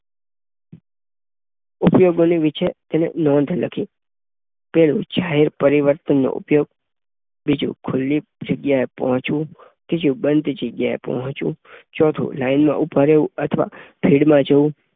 ઉપયોગ બનતી વિગતે તેને નોંધ લખી જાહેર પરિવહનનો ઉપયોગ બીજું ખુલ્લી જગ્યાએ પહોંચવું ત્રીજું બંધ જગ્યાએ પહોંચવું ચોથું લાઈનમાં ઊભા રહેવું અથવા ભીડમાં જવું.